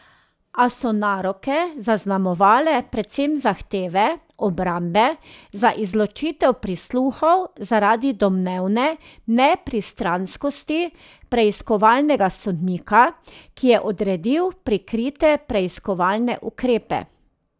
A so naroke zaznamovale predvsem zahteve obrambe za izločitev prisluhov zaradi domnevne nepristranskosti preiskovalnega sodnika, ki je odredil prikrite preiskovalne ukrepe.